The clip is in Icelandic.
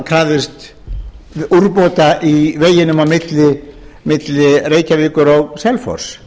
krafðist úrbóta á veginum á milli reykjavíkur og selfoss